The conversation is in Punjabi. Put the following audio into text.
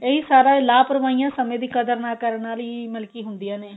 ਇਹੀ ਸਾਰਾ ਲਾਪਰਵਾਈਆਂ ਸਮੇਂ ਦੀ ਕਦਰ ਨਾ ਕਰਨ ਨਾਲ ਹੀ ਮਤਲਬ ਕੀ ਹੁੰਦਿਆ ਨੇ